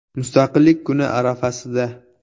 Mustaqillik kuni arafasida.